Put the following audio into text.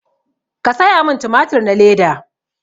Ka saya min tumatur na leda